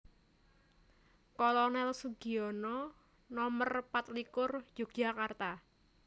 Kolonel Sugiono Nomer patlikur Yogyakarta